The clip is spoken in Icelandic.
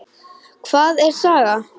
Hvað er saga?